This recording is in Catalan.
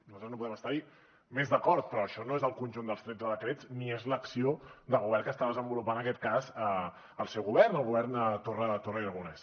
nosaltres no podem estar hi més d’acord però això no és el conjunt dels tretze decrets ni és l’acció de govern que està desenvolupant en aquest cas el seu govern o el govern torra i aragonès